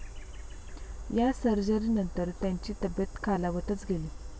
या सर्जरीनंतर त्यांची तब्येत खालावतच गेली.